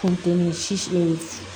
Kun te ni si